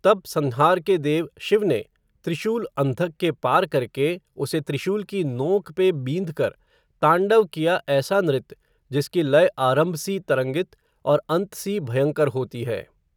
तब संहार के देव, शिव ने, त्रिशूल अंधक के पार करके, उसे त्रिशूल की नोंक पे, बींध कर, तांडव किया ऐसा नृत्य, जिसकी लय आरंभ सी तरंगित, और अंत सी भयंकर होती है